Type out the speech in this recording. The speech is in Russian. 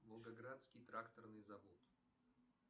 волгоградский тракторный завод